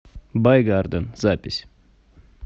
бай гарден запись